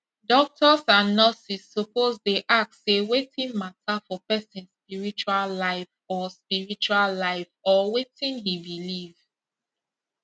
doctors and nurses suppose dey ask say wetin matter for person spiritual life or spiritual life or watin he belief